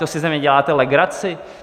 To si ze mě děláte legraci?